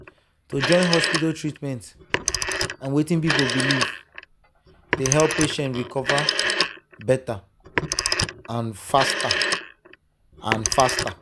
to join hospital treatment and wetin people believe dey help patient recover better and faster. and faster.